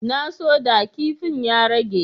Na so da kipin ya rage.